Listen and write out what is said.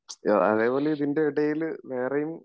അതേപോലെ ഇതിൻറെ എടേല് വേറെയും